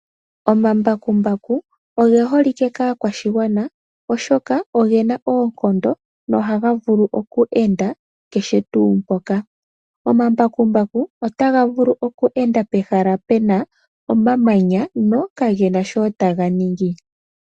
Ombakumbaku oge holike kaakwashigwana, oshoka ogena oonkondo nohaga vulu oku enda kehe tuu mpoka. Omambakumbaku otaga vulu oku enda pehala puna omamanya no kagena shotaga ningi.